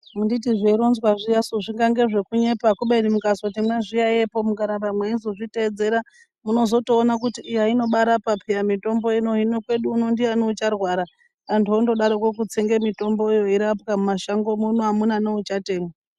Handiti zveironzwa zviyasu zvingange zvekunyepa kubeni mukazoti mazviyaiyepo mukaramba mweizozviteedzera munozotoona kuti iya inobaarapa peya mitombo ino. Hino kwedu uno ndiyani ucharwara. Antu ondodaroko kutsenge mitomboyo eirapwa, mumashango muno, hamuna nouchatenga.